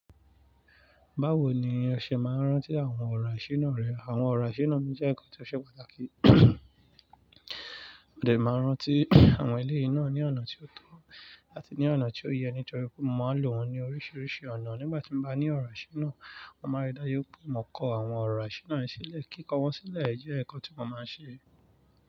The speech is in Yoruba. Báwo ni ọṣẹ máa ń rántí àwọn ọ̀rọ̀ àṣírí náà rẹ? Àwọn ọ̀rọ̀ àṣírí náà ni jẹ́ ǹkan tí ó ṣe pàtàkì. Mo dè máa n rántí àwọn eléyìí náà ní ọ̀nà tí ó tọ́ àti ní ọ̀nà tí ó yẹ, nítorí pé mo máa lò wọ́n ní oríṣiríṣi ọ̀nà. Nígbà tí mo bá ní ọ̀rọ̀ àṣírí náà, mo máa rí dájú pé mò kọ àwọn ọ̀rọ̀ àṣírí náà sílẹ̀. Kíkọ wọ́n sílẹ̀ jẹ́ ǹkan tí mo máa ń ṣe.